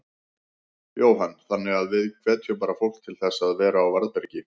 Jóhann: Þannig að við hvetjum bara fólk til þess að vera á varðbergi?